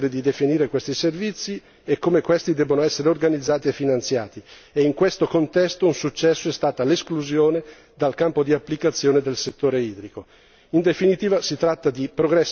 Le autorità nazionali continuano a rimanere libere di definire questi servizi e come questi debbano essere organizzati e finanziati e in questo contesto un successo è stata l'esclusione dal campo di applicazione del settore idrico.